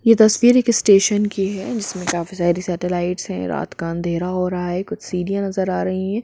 ये तस्वीर एक स्टेशन की हैं जिस मे काफी सारी सेटेलाइट भी हैं रात का अंधेरा हो रहा हैं कुछ सीढ़ियां नजर आ रही हैं।